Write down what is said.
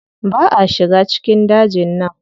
Ba a shiga cikin dajin nan.